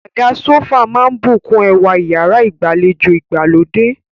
Àga sófà máà ń bùkún ẹwà iyàrá ìgbàlejò ìgbàlódé.